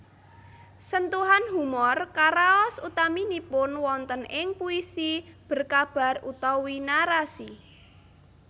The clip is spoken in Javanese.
Sentuhan humor karaos utaminipun wonten ing puisi berkabar utawi narasi